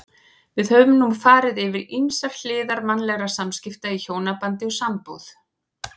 Við höfum nú farið yfir ýmsar hliðar mannlegra samskipta í hjónabandi og sambúð.